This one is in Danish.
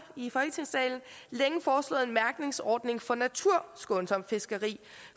i folketingssalen længe foreslået en mærkningsordning for naturskånsomt fiskeri